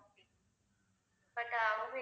but